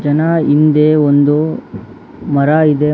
ನ ಹಿಂದೆ ಒಂದು ಮರ ಇದೆ ಮ--